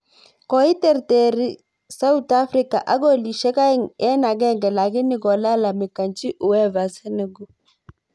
Koiterterir sauthafrika ak kolisyek aeng eng agenge lakini kolalamikanchi uefa Senegal